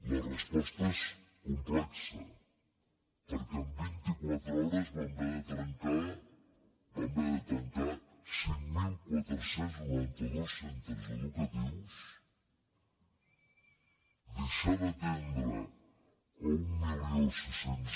la resposta és complexa perquè en vint i quatre hores vam haver de tancar cinc mil quatre cents i noranta dos centres educatius deixar d’atendre mil sis cents